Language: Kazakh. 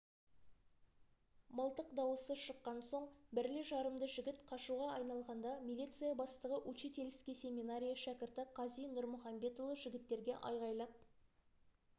мылтық дауысы шыққан соң бірлі-жарымды жігіт қашуға айналғанда милиция бастығы учительский семинария шәкірті қази нұрмұхамбетұлы жігіттерге айғайлап